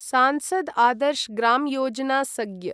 Sansad Adarsh Gram Yojana सग्य्